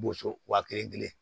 Boso wa kelen kelen